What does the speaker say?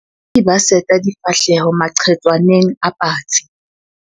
Bataki ba seta difahleho maqhetswaneng a patsi.